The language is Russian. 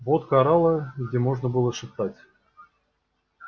водка орала где можно было шептать